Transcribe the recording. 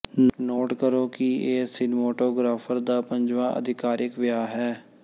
note ਕਰੋ ਕਿ ਇਹ ਸਿਨਮੋਟੋਗ੍ਰਾਫ਼ਰ ਦਾ ਪੰਜਵਾਂ ਆਧਿਕਾਰਿਕ ਵਿਆਹ ਹੈ